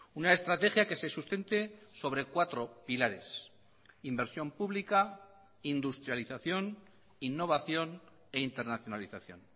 una estrategia que se sustente sobre cuatro pilares inversión pública industrialización innovación e internacionalización